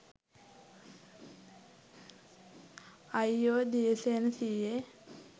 අයියෝ දියසේන සීයේ